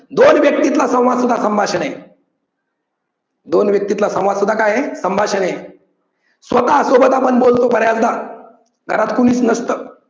दोन व्याक्तीतला संवाद सुद्धा संभाषण आहे. दोन व्याक्तीतला संवाद सुद्धा काय आहे? संभाषण आहे. स्वतः सोबत आपण बोलतो बऱ्याचदा, घरात कोणीच नसतं.